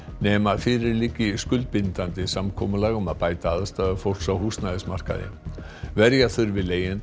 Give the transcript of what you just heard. nema fyrir liggi skuldbindandi samkomulag um að bæta aðstæður fólks á húsnæðimarkaði verja þurfi leigjendur